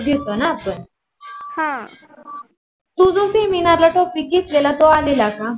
तु जो Seminar ला topic घेतलेला तो आलेला का?